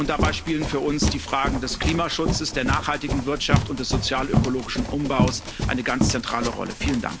Dabei spielen für uns die Fragen des Klimaschutzes, der nachhaltigen Wirtschaft und des sozialökologischen Umbaus eine ganz zentrale Rolle.